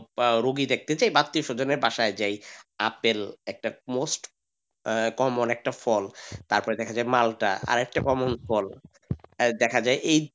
বা রোগী দেখতে যাই বা আত্মীয় স্বজনের বাসায় আপেল একটা most common একটা ফল তারপরে দেখা যায় মালটা আর একটা common ফল আর দেখা যায় এই,